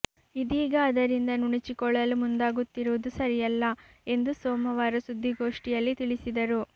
ಇದೀಗ ಅದರಿಂದ ನುಣುಚಿಕೊಳ್ಳಲು ಮುಂದಾಗುತ್ತಿರುವುದು ಸರಿಯಲ್ಲ ಎಂದು ಸೋಮವಾರ ಸುದ್ದಿಗೋಷ್ಠಿಯಲ್ಲಿ ತಿಳಿಸಿದರು